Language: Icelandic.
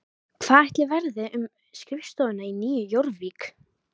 Hvað ætli verði um skrifstofuna í Nýju Jórvík?